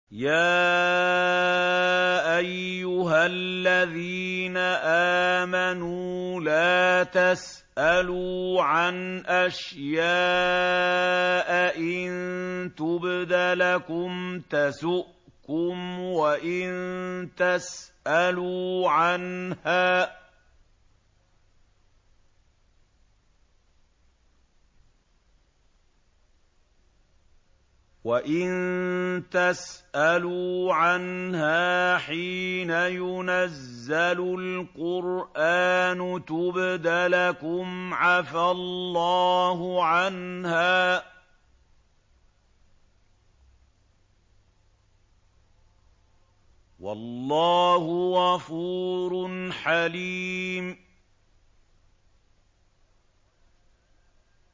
يَا أَيُّهَا الَّذِينَ آمَنُوا لَا تَسْأَلُوا عَنْ أَشْيَاءَ إِن تُبْدَ لَكُمْ تَسُؤْكُمْ وَإِن تَسْأَلُوا عَنْهَا حِينَ يُنَزَّلُ الْقُرْآنُ تُبْدَ لَكُمْ عَفَا اللَّهُ عَنْهَا ۗ وَاللَّهُ غَفُورٌ حَلِيمٌ